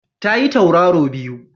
Ta yi Tauraro biyu